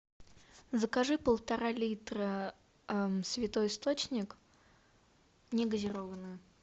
закажи полтора литра святой источник не газированную